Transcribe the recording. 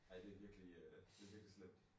Ej det virkelig øh det virkelig slemt